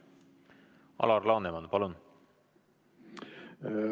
Alar Laneman, palun!